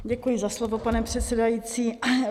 Děkuji za slovo, pane předsedající.